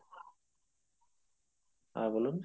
হ্যাঁ বলুন?